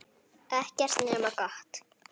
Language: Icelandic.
Ekkert nema gott.